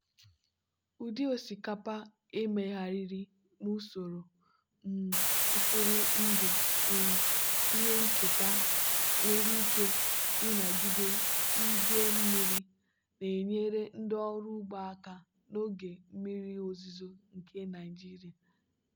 ụdị osikapa emegharịrị n'usoro um mkpụrụ ndụ um ihe nketa nwere ike ịnagide idei mmiri na-enyere ndị ọrụ ugbo aka n'oge mmiri ozuzo nke nigeria.